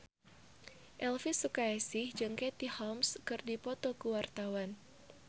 Elvy Sukaesih jeung Katie Holmes keur dipoto ku wartawan